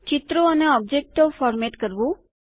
ચિત્રો અને ઓબ્જેક્ટો ફોર્મેટ કરવું